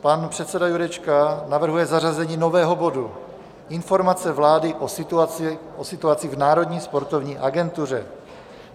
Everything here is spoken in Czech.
Pan předseda Jurečka navrhuje zařazení nového bodu, Informace vlády o situaci v Národní sportovní agentuře.